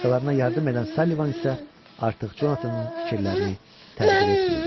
Başqalarına yardım edən Sullivan isə artıq Jonathanın fikirlərini təqdir etmirdi.